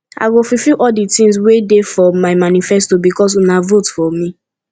i go fulfill all the things wey dey for my manifesto because una vote for me